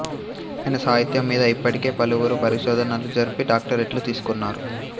ఆయన సాహిత్యం మీద ఇప్పటికే పలువురు పరిశోధనలు జరిపి డాక్ట రేట్లు తీసుకున్నారు